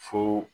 Fo